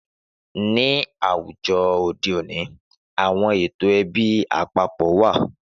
Ni àwùjọ òde òní, àwọn ètò ẹbí àpapọ̀ wá.